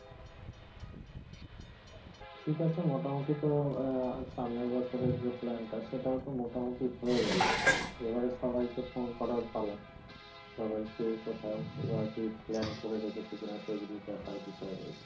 ঠিক আছে মোটামুটি তো আহ সামনের বছর এর যে plan টা সেটাও তো মোটামুটি হয়ে গেল এবারে সবাইকে ফোন করার পালা সবাই কে কোথায় আর কি plan করে রেখেছে কিনা সেই গুলো দেখার বিষয় রয়েছে